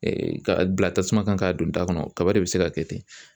ka bila tasuma kan k'a don da kɔnɔ kaba de bɛ se ka kɛ ten